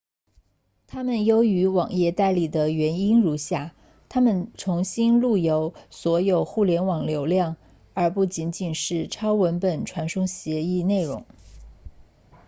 它们优于网页代理的原因如下它们重新路由所有互联网流量而不仅仅是超文本传送协议 http 内容